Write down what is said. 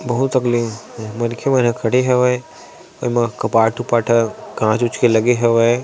बहुत अगले मनखे मन ह खड़े हवे कपाट वपाट ह काच वाच के लगे हवे ।--